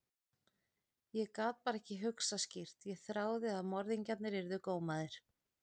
Ég gat bara ekki hugsað skýrt, ég þráði að morðingjarnir yrðu gómaðir.